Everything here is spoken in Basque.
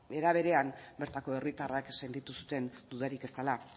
era berean bertako herritarrek sentitu zuten dudarik ez dela